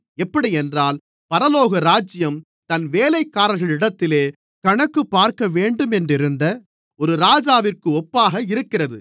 எப்படியென்றால் பரலோகராஜ்யம் தன் வேலைக்காரர்களிடத்தில் கணக்குப்பார்க்கவேண்டுமென்றிருந்த ஒரு ராஜாவிற்கு ஒப்பாக இருக்கிறது